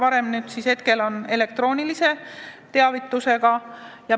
Praegu on võimalik vaid elektrooniline teavitus.